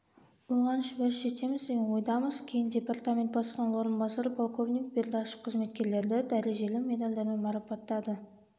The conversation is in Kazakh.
оған шүбәсіз жетеміз деген ойдамыз кейін департамент бастығының орынбасары полковник бердашев қызметкерлерді дәрежелі медальдармен марапаттады